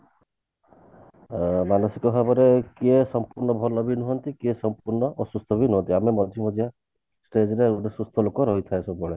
ଅ ମାନସିକ ଭାବରେ କିଏ ସମ୍ପୂର୍ଣ ଭଲ ବି ନୁହନ୍ତି କିଏ ସମ୍ପୂର୍ଣ ଅସୁସ୍ଥ ବି ନୁହନ୍ତି ଆମେ ମଝି ମଝିଆ ସେଇଥିପାଇଁ ଗୋଟେ ସୁସ୍ଥ ଲୋକ ରହିଥାଉ ସବୁବେଳେ